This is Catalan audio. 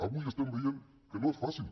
avui estem veient que no és fàcil